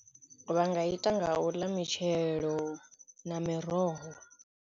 Vha nga ita nga u ḽa mitshelo na miroho.